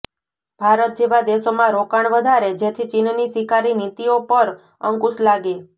ભારત જેવા દેશોમાં રોકાણ વધારે જેથી ચીનની શિકારી નીતિઓ પર અંકુશ લાગે